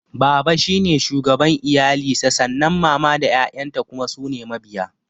Baba shine shugaban iyali sa sannan mama da ƴaƴan ta kuma sune mabiya